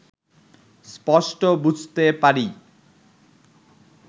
স্পষ্ট বুঝতে পারি